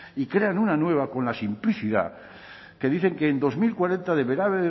y crean una nueva con la simplicidad que dicen que en dos mil cuarenta deberá haber